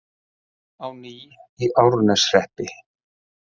Rafmagn á ný í Árneshreppi